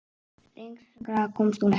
Lengra komst hún ekki.